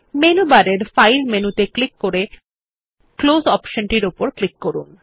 menu বারে file মেনুতে click করে ক্লোজ অপশনটি উপর ক্লিক করুন